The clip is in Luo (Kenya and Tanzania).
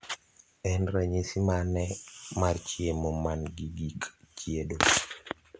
en ranyisi mane mar chiemo man gi gik chiedo